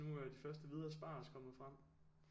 Nu er de første hvide asparges kommet frem